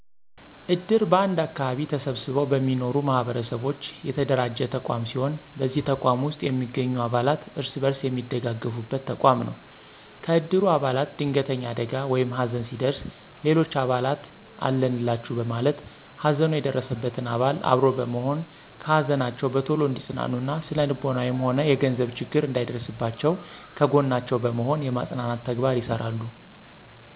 እድር በአንድ አከባቢ ተሰብስበው በሚኖሩ ማህበረሰቦች የተደራጀ ተቋም ሲሆን በዚህ ተቋም ውስጥ የሚገኙ አባላት እርስ በርስ የሚደጋገፉበት ተቋም ነው። ከእድሩ አባላት ድንገተኛ አደጋ ወይም ሀዘን ሲደርስ ሌሎች አባላት አለንላቹ በማለት ሀዘኑ የደረሰበትን አባል አብሮ በመሆን ከሀዘናቸው በቶሎ እንዲፅናኑ እና ስነልቦናዊም ሆነ የገንዘብ ችግር እንዳይደርስባቸው ከጎናቸው በመሆን የማፅናናት ተግባር ይሰራሉ።